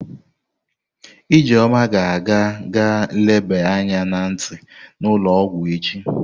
Ijeoma ga-aga ga eleba anya na nti n'ulo ogwu echi.